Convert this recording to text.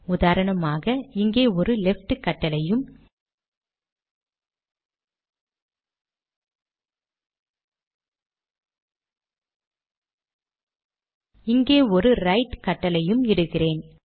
உதாரணமாக இங்கே ஒரு லெஃப்ட் கட்டளையும் இங்கே ஒரு ரைட் கட்டளையும் இடுகிறேன்